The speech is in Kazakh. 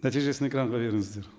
нәтижесін экранға беріңіздер